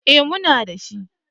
Eh muna dashi.